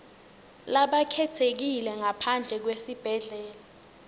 labakhetsekile ngaphandle kwesibhedlela